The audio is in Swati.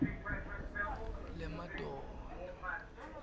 lemadonna